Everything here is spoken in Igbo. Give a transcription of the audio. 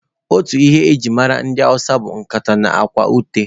Otu ihe e ji mara ndị hausa bụ nkata na akwa ute.